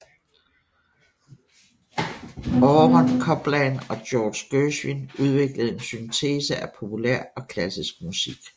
Aaron Copland og George Gershwin udviklede en syntese af populær og klassisk musik